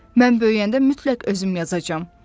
Mən böyüyəndə mütləq özüm yazacam.